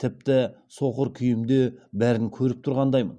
тіпті соқыр күйімде бәрін көріп тұрғандаймын